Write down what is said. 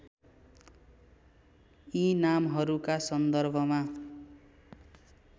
यी नामहरूका सन्दर्भमा